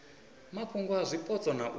mafhungo a zwipotso na u